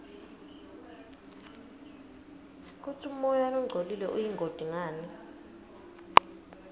kutsi umoya longcolile uyingoti ngani